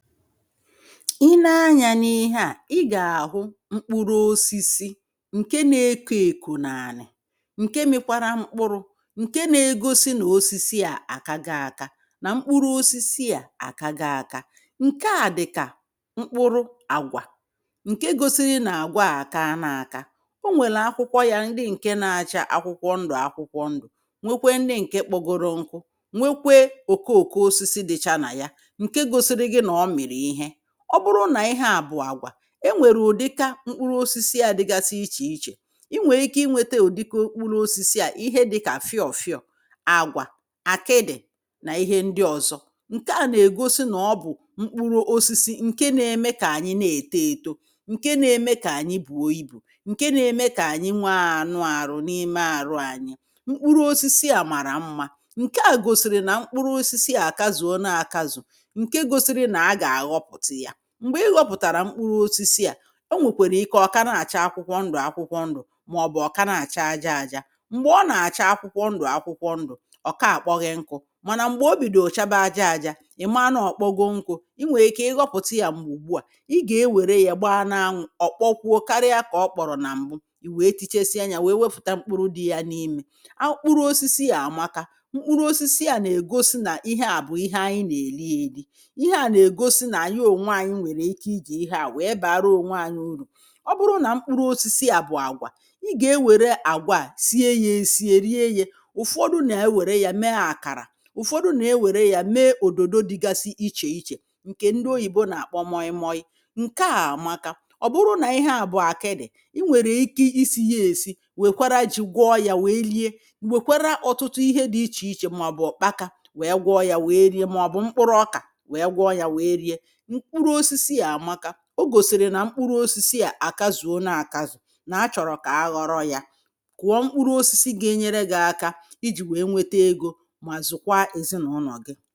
I nee anya n’ihe a, I ga-ahụ mkpụrụ ọsisi nke na-ekọ ekọ n’ani nke mekwara mkpụrụ̇ nke na-egọsi na ọsisi a akagọ aka na mkpụrụ ọsisi a akagọ aka nke a dịka mkpụrụ agwa nke gọsiri na-agwa a akana aka ọ nwèlụ akwụkwọ ya ndị nke na-acha akwụkwọ ndụ̀ akwụkwọ ndụ̀ nwekwe ndị nke kpọgọrọ nkụ nwekwe ọkọ ọkọ ọsisi dịcha na ya nke gọsiri gi na ọ mịri ihe a. Ọ bụrụ na ihe a bụ̀ àgwà, enwere ụ̀dịka mkpụrụ ọsisi à dịgasị iche iche inwere ike inweta ụ̀dịka okpụlụ ọsisi a ihe dịka fịọ̀ fịọ̀, àgwà, àkịdị̀ na ihe ndị ọ̀zọ nke à na-egọsi na ọ bụ̀ mkpụrụ ọsisi nke na-eme ka anyị na-ètọ ètọ nke na-eme ka ànyị bùọ ibù nke na-eme ka ànyị nwee ànụ àrụ n’ime àrụ ànyị mkpụrụ ọsisi a mara mma nke à gọsiri na mkpụrụ ọsisi a kazụ̀ ọna akazụ̀, nke gọsiri na aga aghọpụta ya mgbe ị ghọpụ̀tàrà mkpụrụ ọsisi a ọ nwekwere ike ọ̀ ka na-acha akwụkwọ ndụ̀ akwụkwọ ndụ̀ maọbụ̀ ọ̀ ka na-acha aja aja mgbe ọ na-acha akwụkwọ ndụ̀ akwụkwọ ndụ̀ ọ̀ ka akpọ ghị nkụ̇ mana mgbe ọbìdọ chaba aja aja ị̀ ma na-ọ̀kpọgo nkụ̇ i nwere ike ị ghọpụ̀ta ya mgbè ùgbu a i ga-ewere ya gba na-anwụ̇ ọ̀ kpọkwụọ karịa ka ọ kpọ̀rọ̀ na mbụ ì wèe tichesịa nya wèe wepụ̀ta mkpụrụ dị ya n’imė akpụrụ osisi a amaka mkpụrụ osisi a na-egọsi na ihe a bụ̀ ihe anyị nà èli èli ihe a na-egọsi na anyị ọnwe anyị nwèrè ike ịji ihe a wèe bara ọ̀nwe anyị ụrụ. Ọ bụrụ na mkpụrụ ọsisi a bụ àgwà, i ga ewère àgwà a sie ya esie rie ye ụ̀fọdụ na-ewere ya mee àkàrà ụ̀fọdụ na-ewere ya mee ọ̀dọ̀dọ dịgasi iche iche nke ndị oyìbọ na-akpọ mọyị mọyị nke a amaka ọ̀ bụrụ na ihe a bụ akịdị̀ i nwèrè ike isi ya esi wekwara jì gwọọ ya wèe rie wèkwara ọtụtụ ihe dị iche iche maọ̀bụ̀ ụkpaka wèe gwọọ ya wèe rie maọ̀bụ mkpụrụ ọka wèe gwọọ ya wèe rie. Mkpụrụ ọsisi a amaka ọ gọsiri nà mkpụrụ ọsisi a àkazụọ na àkazù na a chọ̀rọ̀ ka a ghọ̀rọ̀ ya kụ̀ọ mkpụrụ ọsisi ga-enyere gị̇ aka ijì wee nwete egọ mà zụkwaa ezị na ụnọ̀ gị̇